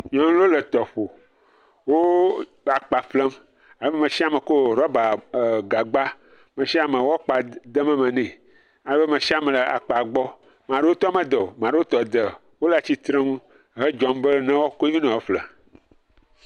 Nuɔnuwo le tɔƒo. wo le la ƒlem. Me sia me tso eh rɔba gagba, me sia me wokpa dem eme ne. Ale be me sia me wo akpa dem eme ne, ale be me sis me le akpa gbɔ. Ame aɖewo tɔ me de o, ame aɖewo tɔ de. Wole atsi tre ŋu he dzɔm be woa kɔe ve ne ye woƒle.